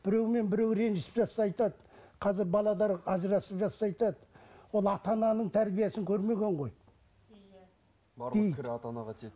біреумен біреу ренжісіп жатса айтады қазір ажырасып жатса айтады ол ата ананың тәрбиесін көрмеген ғой иә барлық кір ата анаға тиеді